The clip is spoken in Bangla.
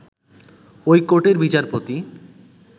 ঐ কোর্টের বিচারপতি